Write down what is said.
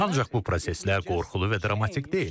Ancaq bu proseslər qorxulu və dramatik deyil.